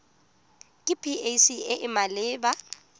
ke pac e e maleba